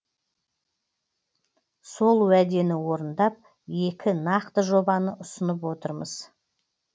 сол уәдені орындап екі нақты жобаны ұсынып отырмыз